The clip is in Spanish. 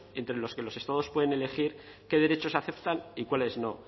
entre los que los estados pueden elegir qué derechos aceptan y cuáles no